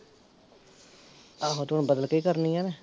ਆਹੋ ਤੇ ਹੁਣ ਬਦਲ ਕੇ ਈ ਕਰਨੀਆਂ ਨੇ